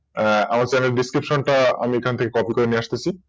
আমার Channel description টা আমি এখান থেকে Copy করে নিয়ে আসতেছি